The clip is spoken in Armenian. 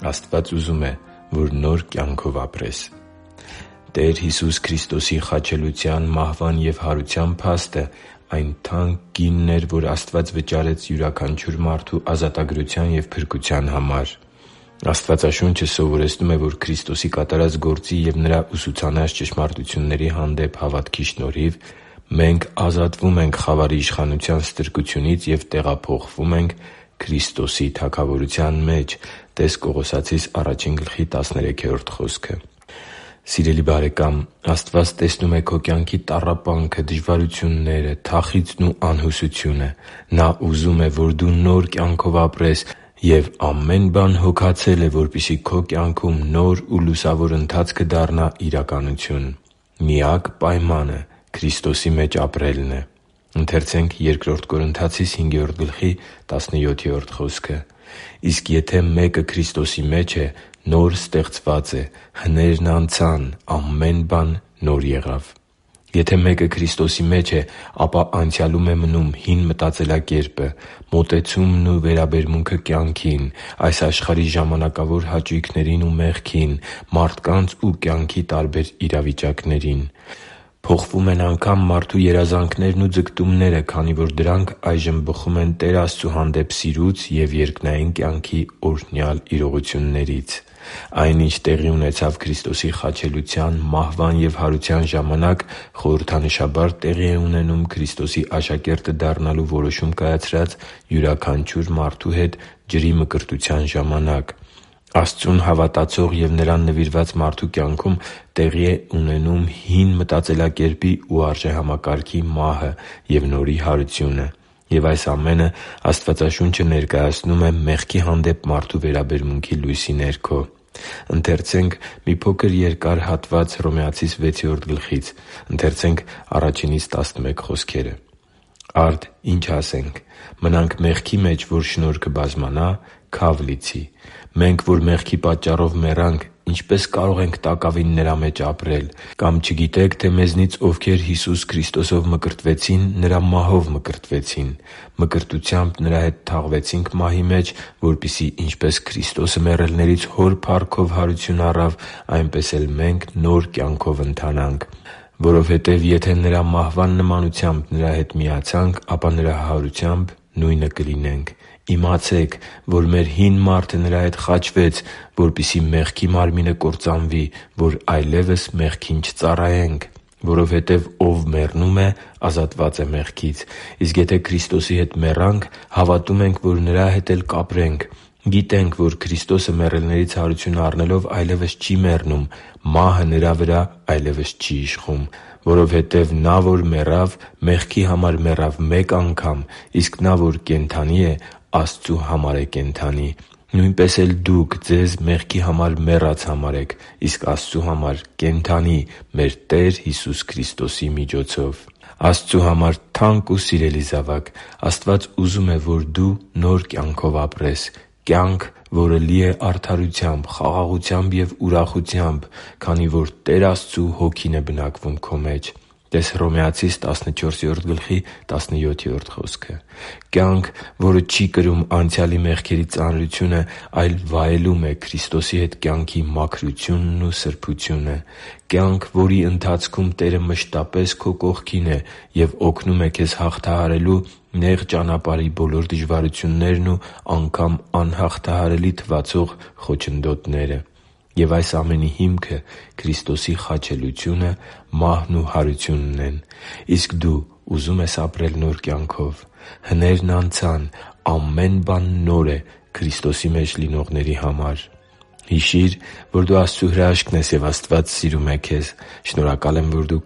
Աստված ուզում է, որ նոր կյանքով ապրես Տեր Հիսուս Քրիստոսի խաչելության, մահվան և հարության փաստը այն թանկ գինն էր, որ Աստված վճարեց յուրաքանչյուր մարդու ազատագրության և փրկության համար։ Աստվածաշունչը սովորեցնում է, որ Քրիստոսի կատարած գործի և Նրա ուսուցանած ճշմարտությունների հանդեպ հավատքի շնորհիվ մենք ազատվում ենք խավարի իշխանության ստրկությունից և տեղափոխվում ենք Քրիստոսի Թագավորության մեջ (տե՛ս Կողոսացիս 1.13 խոսքը)։ Սիրելի՛ բարեկամ, Աստված տեսնում է քո կյանքի տառապանքը, դժվարությունները, թախիծն ու անհուսությունը։ Նա ուզում է, որ դու նոր կյանքով ապրես, և ամեն բան հոգացել է, որպեսզի քո կյանքում նոր ու լուսավոր ընթացքը դառնա իրականություն։ Միակ պայմանը Քրիստոսի մեջ ապրելն է։ «Իսկ եթե մեկը Քրիստոսի մեջ է, նոր ստեղծված է. հներն անցան, ահա ամեն բան նոր եղավ» (Բ Կորնթացիներին 5․17)։ Եթե մեկը Քրիստոսի մեջ է, ապա անցյալում է մնում նրա հին մտածելակերպը՝ մոտեցումն ու վերաբերմունքը կյանքին, այս աշխարհի ժամանակավոր հաճույքներին ու մեղքին, մարդկանց ու կյանքի տարբեր իրավիճակներին։ Փոխվում են անգամ մարդու երազանքներն ու ձգտումները, քանի որ դրանք այժմ բխում են Տեր Աստծու հանդեպ սիրուց և երկնային կյանքի օրհնյալ իրողություններից։ Այն, ինչ տեղի ունեցավ Քրիստոսի խաչելության, մահվան և հարության ժամանակ, խորհրդանշաբար տեղի է ունենում Քրիստոսի աշակերտը դառնալու որոշում կայացրած յուրաքանչյուր մարդու հետ ջրի մկրտության ժամանակ։ Աստծուն հավատացող և Նրան նվիրված մարդու կյանքում տեղի է ունենում հին մտածելակերպի ու արժեհամակարգի մահը և նորի հարությունը։ Եվ այս ամենը Աստվածաշունչը ներկայացնում է մեղքի հանդեպ մարդու վերաբերմունքի լույսի ներքո։ «Արդ ի՞նչ ասենք. մնա՞նք մեղքի մեջ, որ շնորհը բազմանա։ Քա՛վ լիցի. մենք, որ մեղքի պատճառով մեռանք, ինչպե՞ս կարող ենք տակավին նրա մեջ ապրել։ Կամ չգիտե՞ք, թե մեզանից ովքեր Հիսուս Քրիստոսով մկրտվեցին, Նրա մահո՛վ մկրտվեցին։ Մկրտությամբ Նրա հետ թաղվեցինք մահի մեջ, որպեսզի ինչպես Քրիստոսը մեռելներից Հոր փառքով հարություն առավ, այնպես էլ մենք նոր կյանքով ընթանանք։ Որովհետև եթե Նրա մահվան նմանությամբ Նրա հետ միացանք, ապա Նրա հարությամբ նույնը կլինենք։ Իմացե՛ք, որ մեր հին մարդը Նրա հետ խաչվեց, որպեսզի մեղքի մարմինը կործանվի, որ այլևս մեղքին չծառայենք։ Որովհետև ով մեռնում է, ազատված է մեղքից։ Իսկ եթե Քրիստոսի հետ մեռանք, հավատում ենք, որ Նրա հետ էլ կապրենք։ Գիտենք, որ Քրիստոսը, մեռելներից հարություն առնելով, այլևս չի մեռնում, մահը Նրա վրա այլևս չի իշխում։ Որովհետև նա, որ մեռավ, մեղքի համար մեռավ մեկ անգամ, իսկ նա, որ կենդանի է, Աստծու համար է կենդանի։ Նույնպես էլ դուք ձեզ մեղքի համար մեռած համարեք, իսկ Աստծու համար՝ կենդանի՝ մեր Տեր Հիսուս Քրիստոսի միջոցով» (Հռոմեացիս 6.1-11): Աստծու համար թանկ ու սիրելի՛ զավակ, Աստված ուզում է, որ դու նոր կյանքով ապրես։ Կյանք, որը լի է արդարությամբ, խաղաղությամբ և ուրախությամբ, քանի որ Տեր Աստծու Հոգին է բնակվում քո մեջ (տե՛ս Հռոմեացիս 14.17 խոսքը)։ Կյանք, որը չի կրում անցյալի մեղքերի ծանրությունը, այլ վայելում է Քրիստոսի հետ կյանքի մաքրությունն ու սրբությունը։ Կյանք, որի ընթացքում Տերը մշտապես քո կողքին է և օգնում է քեզ հաղթահարելու նեղ ճանապարհի բոլոր դժվարություններն ու անգամ՝ անհաղթահարելի թվացող խոչընդոտները։ Եվ այս ամենի հիմքը Քրիստոսի խաչելությունը, մահն ու հարությունն են։ Իսկ դու ուզո՞ւմ ես ապրել նոր կյանքով։ Հներն անցան, ամեն բան նոր է Քրիստոսի մեջ լինողների համար․․․ Հիշի՛ր, որ դու Աստծո հրաշքն ես, և Աստված սիրում է քեզ։ Շնորհակալ եմ, որ դու